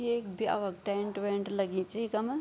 ये एक ब्या व क टेंट -वेंट लगीं च इखम।